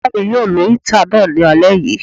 Ìyá mi yóò lo íítà náà ní alé yìí